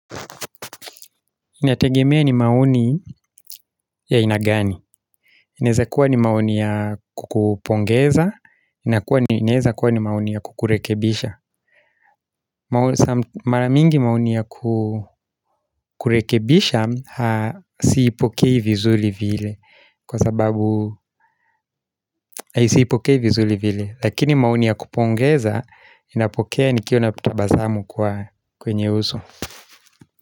Inategemea ni maoni ya aina gani. Inaweza kuwa ni maoni ya kukupongeza. Inaweza kuwa ni maoni ya kukurekebisha. Mara mingi maoni ya kukurekebisha siipokei vizuli vile. Kwa sababu, siipokei vizuli vile. Lakini maoni ya kupongeza ninapokea nikiwa na kutabasamu kwa kwenye uso.